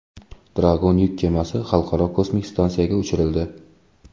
Dragon yuk kemasi Xalqaro kosmik stansiyaga uchirildi.